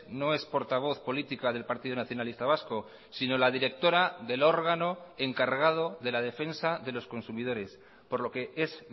no es portavoz política del partido nacionalista vasco sino la directora del órgano encargado de la defensa de los consumidores por lo que es